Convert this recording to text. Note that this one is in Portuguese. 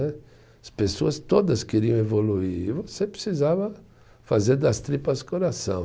As pessoas todas queriam evoluir e você precisava fazer das tripas coração.